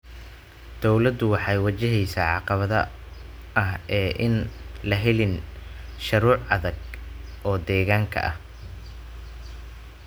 Dawladdu waxay wajaheysaa caqabada ah in aan la helin shuruuc adag oo deegaanka ah.